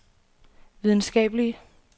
videnskabelige